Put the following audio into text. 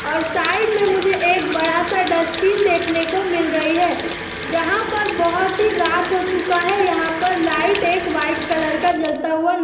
और साइड में मुझे एक बड़ा सा डस्टबिन देखने को मिल रही है| जहां पर बहोत ही रात हो चुका है| यहां पर लाइट एक व्हाइट कलर क जलता हुआ न --